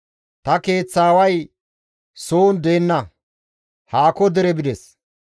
Ta keeththaaway soon deenna; haako dere bides.